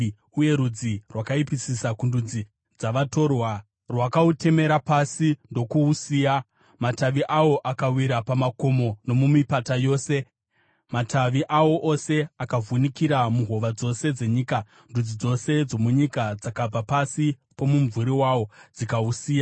uye rudzi rwakaipisisa kundudzi dzavatorwa rwakautemera pasi ndokuusiya. Matavi awo akawira pamakomo nomumipata yose; matavi awo ose akavhunikira muhova dzose dzenyika. Ndudzi dzose dzomunyika dzakabva pasi pomumvuri wawo dzikausiya.